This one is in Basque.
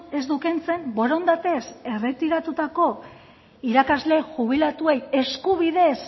ez du kentzen borondatez erretiratutako irakasle jubilatuei eskubidez